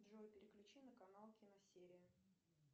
джой переключи на канал киносерия